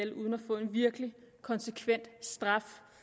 få en virkelig konsekvent straf